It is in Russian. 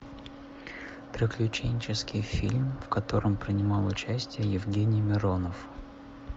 приключенческий фильм в котором принимал участие евгений миронов